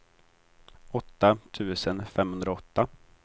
åtta tusen femhundraåtta